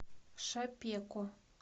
шапеко